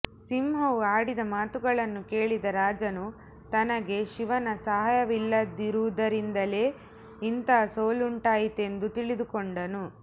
ಸಿಂಹವು ಆಡಿದ ಮಾತುಗಳನ್ನು ಕೇಳಿದ ರಾಜನು ತನಗೆ ಶಿವನ ಸಹಾಯವಿಲ್ಲದುದರಿಂದಲೇ ಇಂಥ ಸೋಲುಂಟಾಯಿತೆಂದು ತಿಳಿದುಕೊಂಡನು